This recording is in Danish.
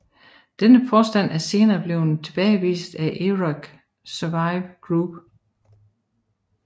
Denne påstand er senere blevet tilbagevist af Iraq Survey Group